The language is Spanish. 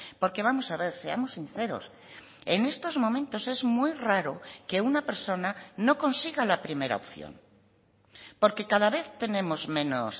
porque vamos a ver seamos sinceros en estos momentos es muy raro que una persona no consiga la primera opción porque cada vez tenemos menos